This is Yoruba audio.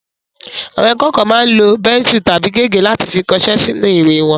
Àwọn akẹ́kọ̀ọ́ máa ń lo bẹ́nsù tàbí gègé láti fi kọṣẹ́ sínú ìwé wọn